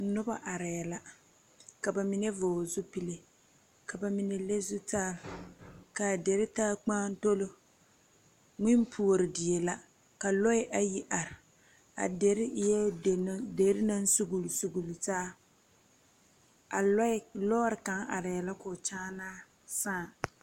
Nuba arẽ la ka ba mene vɔgle zupili ka ba mene le zutari kaa deri taa mgaatolo mwini poɔri deɛ la ka lɔɛ ayi arẽ a deri eei deri nang sugli sugli taa a lɔɔri kanga arẽ la kɔɔ nyaanaa saã.